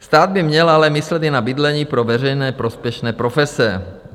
Stát by měl ale myslet i na bydlení pro veřejně prospěšné profese.